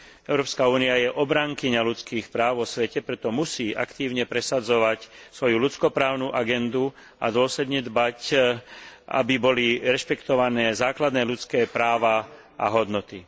Európska únia je obrankyňou ľudských práv vo svete, preto musí aktívne presadzovať svoju ľudsko právnu agendu a dôsledne dbať, aby boli rešpektované základné ľudské práva a hodnoty.